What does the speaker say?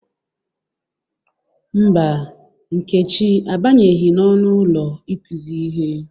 Mba, Nkechi abanyeghi n'ọnụ ụlo ikuzi ihe.